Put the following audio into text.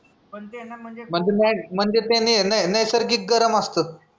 म्हणजे ना ते म्हणजे ते नै नै नैसर्गिक गरम असतं